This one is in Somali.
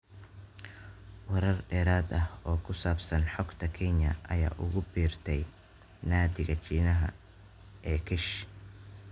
Warar dheeraad ah oo ku saabsan xogtan Kenya ayaa ugu biirtay naadiga Shiinaha ee ksh.